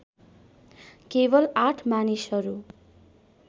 केवल ८ मानिसहरू